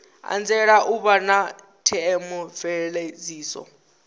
anzela u vha na theomveledziso